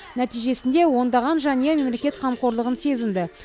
нәтижесінде ондаған жанұя мемлекет қамқорлығын сезінді